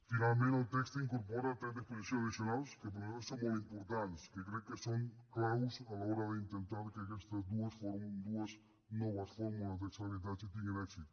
finalment el text incorpora tres disposicions addicionals que per nosaltres són molt importants que crec que són clau a l’hora d’intentar que aquestes dues noves fórmules d’accés a l’habitatge tinguin èxit